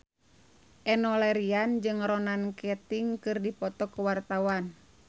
Enno Lerian jeung Ronan Keating keur dipoto ku wartawan